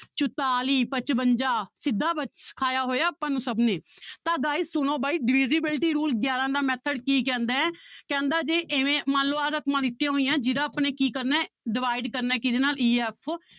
ਚੁਤਾਲੀ ਪਚਵੰਜਾ ਸਿੱਧਾ ਸਿਖਇਆ ਹੋਇਆ ਆਪਾਂ ਨੂੰ ਸਭ ਨੇ ਤਾਂ guys ਸੁਣੋ ਬਾਈ divisibility rule ਗਿਆਰਾਂ ਦਾ method ਕੀ ਕਹਿੰਦਾ ਹੈ ਕਹਿੰਦਾ ਜੇ ਇਵੇਂ ਮੰਨ ਲਓ ਆਹ ਰਕਮਾਂ ਦਿੱਤੀਆਂ ਹੋਈਆਂ ਹੈ ਜਿਹਦਾ ਆਪਾਂ ਨੇ ਕੀ ਕਰਨਾ ਹੈ divide ਕਰਨਾ ਹੈ ਕਿਹਦੇ ਨਾਲ e f